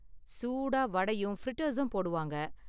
சூடாக வடையும் ஃப்ரிட்டர்ஸும் போடுவாங்க.